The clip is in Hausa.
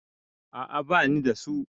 A'a bani da su.